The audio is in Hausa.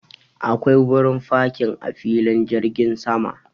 Akwai wurin fakin a filin jirgin sama.